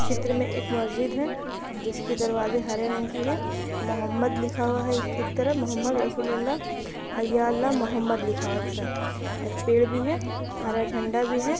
चित्र में एक मस्जिद है जिसके दरवाज़े हरे रंग की है मोह्हमद लिखा हुआ है इसके एक तरफ मुहम्मद रसूलल्लाह या अल्लाह मुहम्मद लिखा हुआ है एक साइड एक पेड़ भी है हरा झंडा भी है।